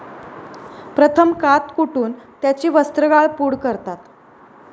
प्रथम कात कुटून त्याची वस्त्रगाळ पूड करतात.